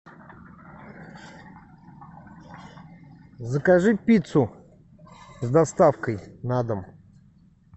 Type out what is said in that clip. закажи пиццу с доставкой на дом